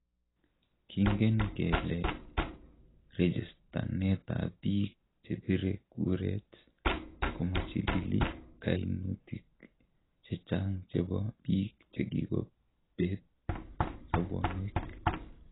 "Kingen kelee reechestanetab biik chebire kureet komachilili kainutik chechang chebo biik chekikobeet sobonweek